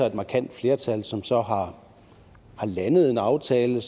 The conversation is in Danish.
et markant flertal som så har landet en aftale